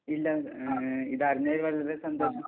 ഇല്ല... ങ്... ഇതറിഞ്ഞതിൽ വളരെ സന്തോഷം.